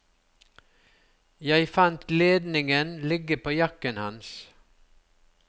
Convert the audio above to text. Jeg fant ledningen ligge på jakken hans.